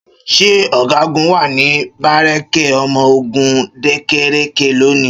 Ṣé ọ̀gágun wà ní bárékè ọmọ ogun dákèrékè lónìí?